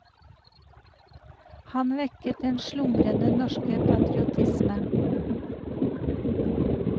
Han vekket den slumrende norske patriotisme.